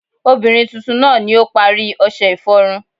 obirin titun naa ni o pari ọṣẹ iforun